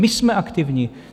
My jsme aktivní.